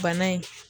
Bana in